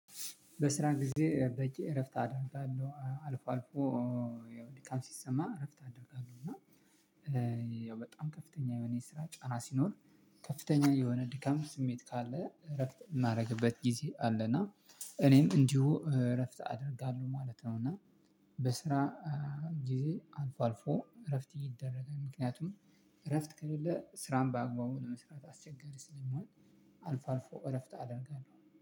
በስራ ጊዜ በቂ እረፍት አደርጋለሁ አልፎ አልፎ። ያው ሊቃን ሲሰማ እረፍት አደርጋለሁ እና ያው በጣም ከፍተኛ የሆነ የስራ ጫና ሲኖር። ከፍተኛ የሆነ ድካም ስሜት ካለ እረፍት የምናደርግበት ጊዜ አለ። እና እኔም እንዲሁ እረፍት አደርጋለሁ ማለት ነው። እና በስራ ጊዜ አልፎ አልፎ እረፍት ይደረጋል። ምክንያቱም እረፍት ከሌለ ስራን በአግባቡ ለመስራት አስቸጋሪ ስለማይሆን። አልፎ አልፎ እረፍት አደርጋለሁ